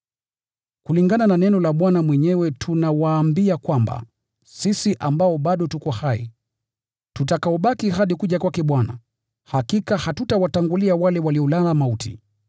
Kulingana na neno la Bwana mwenyewe, tunawaambia kwamba sisi ambao bado tuko hai, tuliobaki hadi kuja kwake Bwana, hakika hatutawatangulia waliolala mauti.